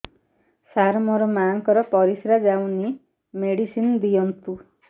ସାର ମୋର ମାଆଙ୍କର ପରିସ୍ରା ଯାଉନି ମେଡିସିନ ଦିଅନ୍ତୁ